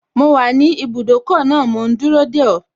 Mo wà ní ibùdókọ̀ náà mò ún dúró dè ọ́